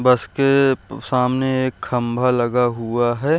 बस के सामने एक खंभा लगा हुआ है।